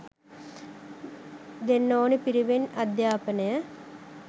දෙන්න ඕනි පිරිවෙන් අධ්‍යාපනය